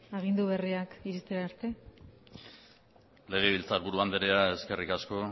agindu berriak iste arte legebiltzarburu andrea eskerrik asko